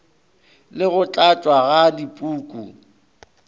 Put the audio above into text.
le go tlatšwa ga dipuku